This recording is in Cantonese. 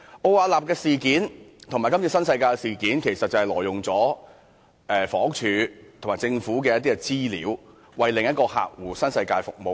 奧雅納事件和今次新世界的事件，其實是關於前者挪用房屋署和政府的資料，為其另一個客戶新世界服務。